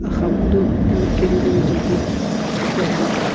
axamunu eno candle jeli tsk ququpe ani.